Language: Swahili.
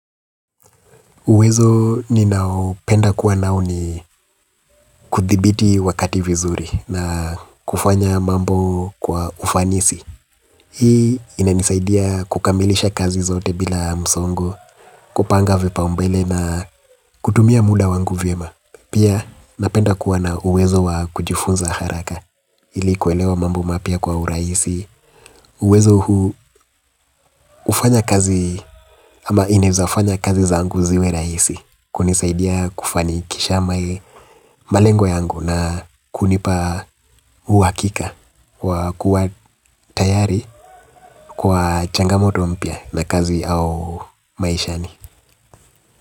Uwezo ni naopenda kuwa nao ni kudhibiti wakati vizuri na kufanya mambo kwa ufanisi. Hii inanisaidia kukamilisha kazi zote bila msongo, kupanga vipaumbele na kutumia muda wangu vyema. Pia napenda kuwa na uwezo wa kujifunza haraka ilikuwelewa mambo mapya kwa urahisi. Uwezo huu hufanya kazi ama inaezafanya kazi zangu ziwe rahisi. Kunisaidia kufani kisha mae malengo yangu na kunipa uhakika wa kuwa tayari kwa changamoto mpya na kazi au maishani.